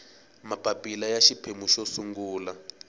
mapapila ya xiphemu xo sungula